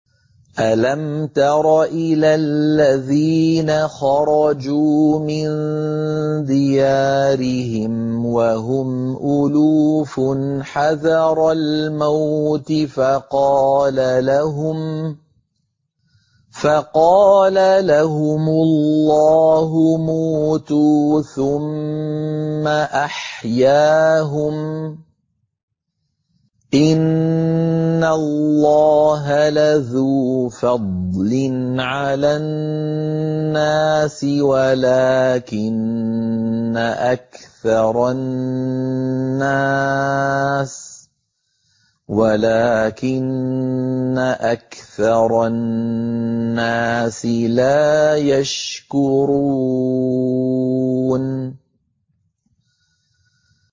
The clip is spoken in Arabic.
۞ أَلَمْ تَرَ إِلَى الَّذِينَ خَرَجُوا مِن دِيَارِهِمْ وَهُمْ أُلُوفٌ حَذَرَ الْمَوْتِ فَقَالَ لَهُمُ اللَّهُ مُوتُوا ثُمَّ أَحْيَاهُمْ ۚ إِنَّ اللَّهَ لَذُو فَضْلٍ عَلَى النَّاسِ وَلَٰكِنَّ أَكْثَرَ النَّاسِ لَا يَشْكُرُونَ